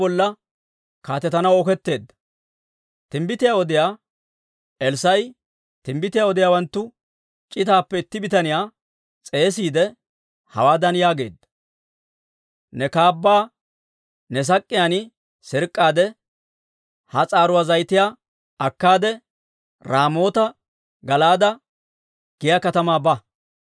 Timbbitiyaa odiyaa Elssaa'i timbbitiyaa odiyaawanttu c'itaappe itti bitaniyaa s'eesiide, hawaadan yaageedda; «Ne kaabbaa ne sak'k'iyaan sirk'k'aade ha s'aaruwaa zayitiyaa akkaade, Raamoota-Gala'aade giyaa katamaa ba.